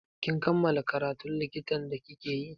Kin kammala karatun likitan da like yi?